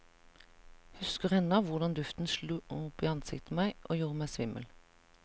Husker ennå hvordan duften slo opp i ansiktet på meg, gjorde meg svimmel.